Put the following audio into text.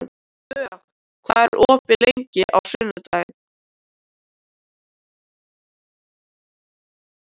Vök, hvað er opið lengi á sunnudaginn?